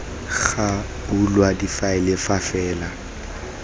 ga bulwa difaele fa fela